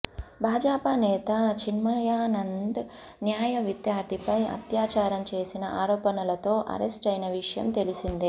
భాజపా నేత చిన్మయానంద్ న్యాయవిద్యార్థిపై అత్యాచారం చేసిన ఆరోపణలతో అరెస్టయిన విషయం తెలిసిందే